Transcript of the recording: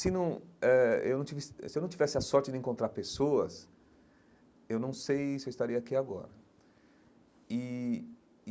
Se não eh eu não se eu não tivesse a sorte de encontrar pessoas, eu não sei se eu estaria aqui agora e.